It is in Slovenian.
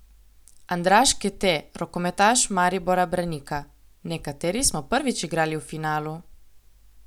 Andraž Kete, rokometaš Maribora Branika: "Nekateri smo prvič igrali v finalu.